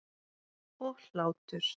Og hlátur.